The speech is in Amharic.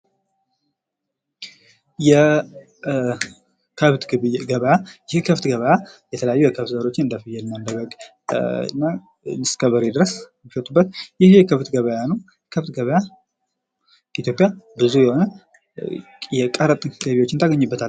የከብት ግብይት ገበያ። የከብት ገበያ የተለያዩ የከብት ዘሮችን እንደፍየል እና እንደ በግ እስከበሬ ድረስ የሚሸጡበት ይህ የከብት ገበያ ነው። የከብት ገበያ ኢትዮጵያ ብዙ የሆነ የቀረጥ ገቢዎችን ታገኝበታለች።